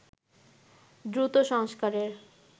দ্রুত সংস্কারের